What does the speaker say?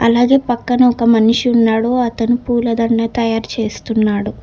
అలాగే పక్కన ఒక మనిషి ఉన్నాడు అతను పూలదండ తయారు చేస్తున్నాడు.